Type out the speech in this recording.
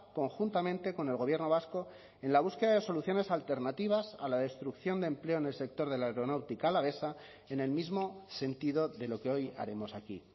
conjuntamente con el gobierno vasco en la búsqueda de soluciones alternativas a la destrucción de empleo en el sector de la aeronáutica alavesa en el mismo sentido de lo que hoy haremos aquí